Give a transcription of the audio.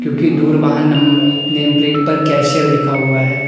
की दूर वाहन नम नेम प्लेट पर कैशियर लिखा हुआ है।